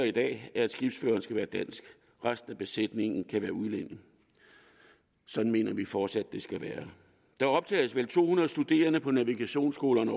i dag er at skibsføreren skal være dansk resten af besætningen kan være udlændinge sådan mener vi fortsat at det skal være der optages vel årligt to hundrede studerende på navigationsskolerne